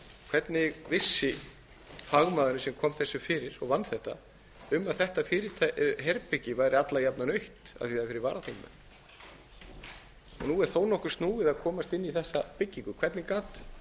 hvernig vissi fagmaðurinn sem kom þessu fyrir og vann þetta um að þetta herbergi væri alla jafna autt af því að það er fyrir varaþingmenn nú er nokkuð snúið að komast inn í þessa byggingu hvernig gat